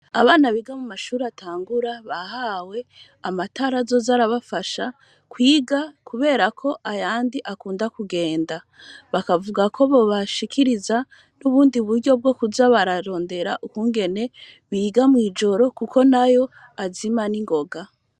Abana biga Mumashure atangura, bahawe Amatara Azoza arabafasha kwiga kuberako ayandi akunda kugenda, bakavuga ko bobashikiriza ubundi Buryo ,bwokuza bararondera ukungene biga mw'ijoro Kuko nayo azima ningoga.